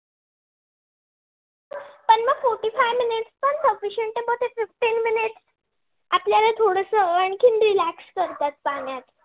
अस आणखी relax करतात. पाण्यात